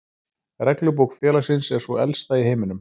Reglubók félagsins er sú elsta í heiminum.